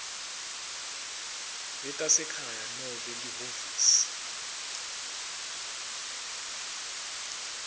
letasekhaya nobe lihhovisi